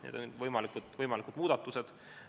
Need on võimalikud muudatused.